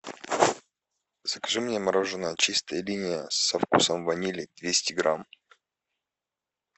закажи мне мороженое чистая линия со вкусом ванили двести грамм